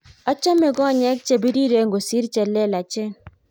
achame komek chebiriren kosir chelelechen